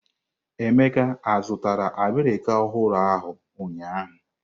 Emeka zụtara abirika ahụrụ ahụ ụnyaahụ?